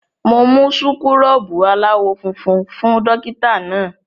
Mo mú súkúrọ́bù aláwọ̀ funfun fún dọ́kítá náà.